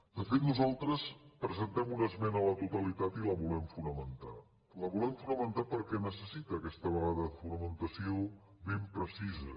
de fet nosaltres presentem una esmena a la totalitat i la volem fonamentar la volem fonamentar perquè neces·sita aquesta vegada fonamentació ben precisa